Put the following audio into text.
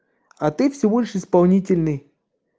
а ты всего лишь исполнительный